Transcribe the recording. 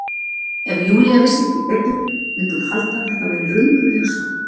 Ef Júlía vissi ekki betur mundi hún halda að þetta væri raunveruleg sorg.